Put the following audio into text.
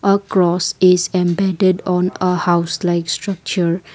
a grass is embedded on a house likes structure.